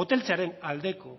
moteltzearen aldeko